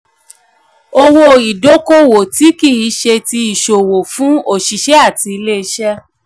owó-ìdókòwò tí kì í ṣe ti ìsòwò fún òṣìṣẹ́ àti ilé-iṣẹ́.